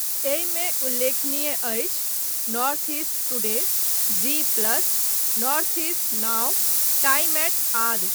एहिमे उल्लेखनीय अछि North East Today, Zee plus, Northeast Now, time eight आदि।